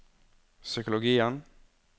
psykologien